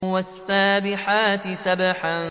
وَالسَّابِحَاتِ سَبْحًا